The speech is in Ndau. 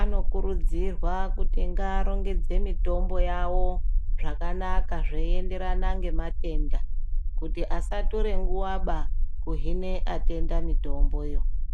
anokurudzirwa kuti ngaarongedze mitombo yawo zvakanaka zveienderana ngematenda, kuti asatore nguwaba kuhine atenda mitomboyo.